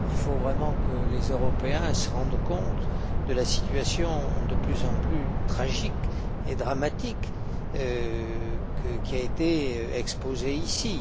Il faut vraiment que les Européens se rendent compte de la situation de plus en plus tragique et dramatique qui a été exposée ici.